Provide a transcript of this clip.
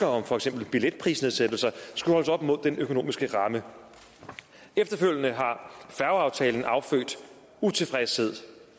om for eksempel billetprisnedsættelser skulle holdes op mod den økonomiske ramme efterfølgende har færgeaftalen affødt utilfredshed